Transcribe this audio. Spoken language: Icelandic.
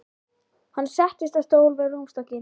Hann settist á stól við rúmstokkinn.